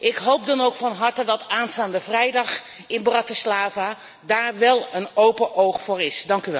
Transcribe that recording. Ik hoop dan ook van harte dat aanstaande vrijdag in Bratislava daar wel een open oog voor is.